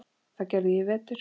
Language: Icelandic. Það gerði ég í vetur.